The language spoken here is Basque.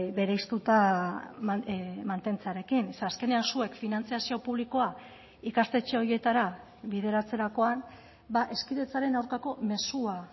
bereiztuta mantentzearekin ze azkenean zuek finantzazio publikoa ikastetxe horietara bideratzerakoan hezkidetzaren aurkako mezua